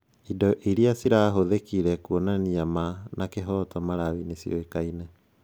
Indo iria cirahũthĩkire kũonania ma na kĩhoto Malawi nĩ ciũĩkaine.